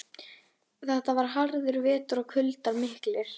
Þetta var harður vetur og kuldar miklir.